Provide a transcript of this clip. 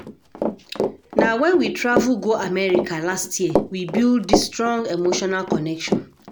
Na wen we travel go America last year we build dis strong emotional connection.